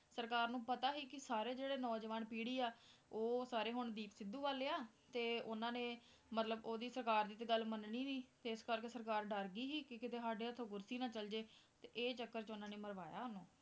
ਸਰਕਾਰ ਨੂੰ ਪਤਾ ਸੀ ਕਿ ਸਾਰੇ ਜਿਹੜੇ ਨੌਜਵਾਨ ਪੀੜ੍ਹੀ ਆ ਉਹ ਸਾਰੇ ਹੁਣ ਦੀਪ ਸਿੱਧੂ ਵੱਲ ਆ, ਤੇ ਉਹਨਾਂ ਨੇ ਮਤਲਬ ਉਹਦੀ ਸਰਕਾਰ ਦੀ ਤੇ ਗੱਲ ਮੰਨਣੀ ਨੀ ਤੇ ਇਸ ਕਰਕੇ ਸਰਕਾਰ ਡਰ ਗਈ ਸੀ ਕਿ ਸਾਡੇ ਹੱਥੋਂ ਕੁਰਸੀ ਨਾ ਚਲੇ ਜਾਏ ਤੇ ਇਹ ਚੱਕਰ 'ਚ ਉਹਨਾਂ ਨੇ ਮਰਵਾਇਆ ਉਹਨੂੰ।